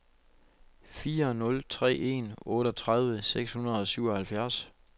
fire nul tre en otteogtredive seks hundrede og syvoghalvfjerds